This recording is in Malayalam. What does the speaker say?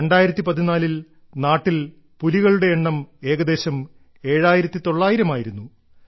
2014 ൽ നാട്ടിൽ പുലികളുടെ എണ്ണം ഏകദേശം 7900 ആയിരുന്നു